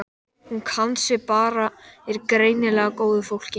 Hún kann sig bara er greinilega af góðu fólki.